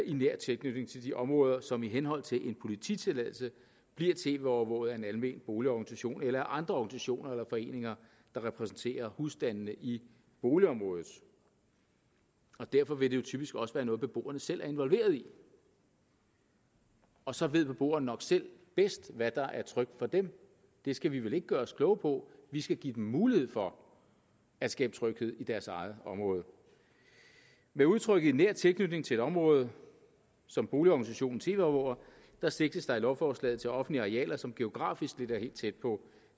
i nær tilknytning til de områder som i henhold til en polititilladelse bliver tv overvåget af en almen boligorganisation eller andre organisationer eller foreninger der repræsenterer husstandene i boligområdet derfor vil det jo typisk også være noget beboerne selv er involveret i og så ved beboerne nok selv bedst hvad der er trygt for dem det skal vi vel ikke gøre os kloge på vi skal give dem mulighed for at skabe tryghed i deres eget område med udtrykket i nær tilknytning til et område som boligorganisationen tv overvåger sigtes der i lovforslaget til offentlige arealer som geografisk ligger helt tæt på